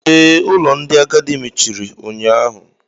Ee, ụlọ ndị agadi mechiri unyaahụ